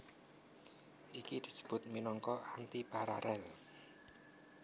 Iki disebut minangka antiparalel